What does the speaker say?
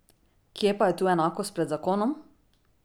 Kje pa je tu enakost pred zakonom?